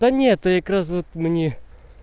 да нет прекрасных мне